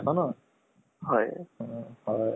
হয় ভালে লাগিলে, আপুনি call কৰিলে।